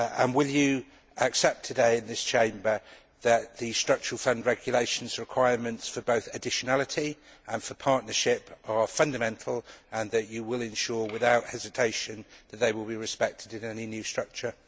Will you accept today, in this Chamber, that the Structural Fund Regulation's requirements, both for additionality and for partnership, are fundamental, and that you will ensure without hesitation that they will be respected in any new structure?